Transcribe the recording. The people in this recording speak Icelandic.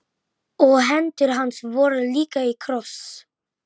Þar stóð hún titrandi þegar afi kom.